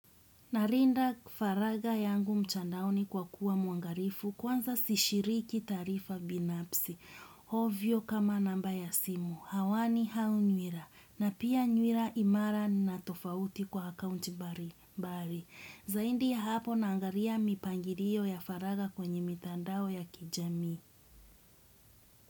Narinda faraga yangu mchandao ni kwa kuwa muangarifu kwanza sishiriki taarifa binapsi, ovyo kama namba ya simu, hawani hau nywira, na pia nywira imara na tofauti kwa akaunti mbali mbali, zaidi ya hapo naangaria mipangirio ya faraga kwenye mitandao ya kijami.